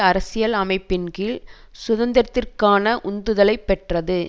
அரசியல் அமைப்பின் கீழ் சுதந்திரத்திற்கான உந்துதலைப் பெற்றது